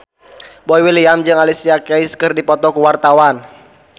Boy William jeung Alicia Keys keur dipoto ku wartawan